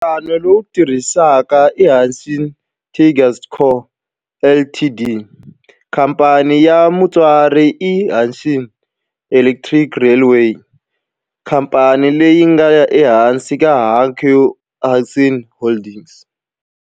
Nhlangano lowu tirhaka i Hanshin Tigers Co., Ltd. Khamphani ya mutswari i Hanshin Electric Railway, khamphani leyi nga ehansi ka Hankyu Hanshin Holdings.